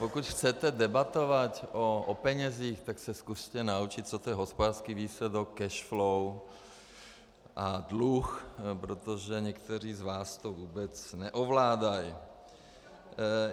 Pokud chcete debatovat o penězích, tak se zkuste naučit, co je to hospodářský výsledek, cash flow a dluh, protože někteří z vás to vůbec neovládají.